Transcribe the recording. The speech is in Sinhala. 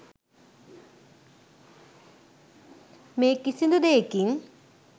මේ කිසිදු දේකින්